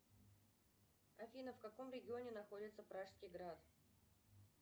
афина в каком регионе находится пражский град